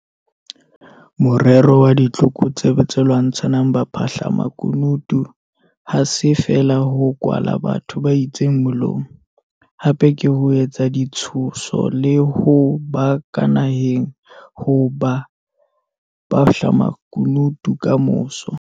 Morero wa ditlokotsebe tse lwantshang baphahlamaku nutu ha se feela ho kwala batho ba itseng molomo - hape ke ho etsa ditshoso le ho ba ka nahang ho ba baphahlamakunutu kamoso.